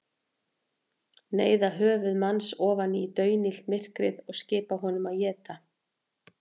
Neyða höfuð hans ofan í daunillt myrkrið og skipa honum að éta.